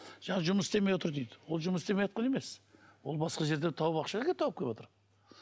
жаңа жұмыс істемей отыр дейді ол жұмыс істемейатқан емес ол басқа жерден тауып ақша әкеліп тауып кеватыр